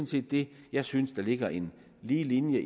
set det jeg synes ligger i en lige linje